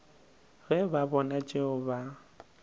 ge ba bona tšeo ba